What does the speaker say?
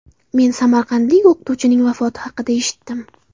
Men samarqandlik o‘qituvchining vafoti haqida eshitdim.